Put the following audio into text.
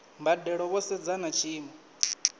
mbadelo vho sedza na tshiimo